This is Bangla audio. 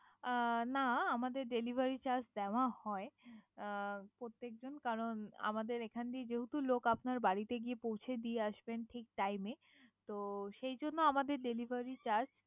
অ না আমাদের Deliviry charge দেওয়া হয়। প্রত্যেক জন কারন আমাদের এখান দিয়ে যেহেতু লোক বাড়িতে গিয়ে পৌছে দিয়ে আসবেন ঠিক Time এ। তো সেই জন্য আমাদের Deliviry charge ।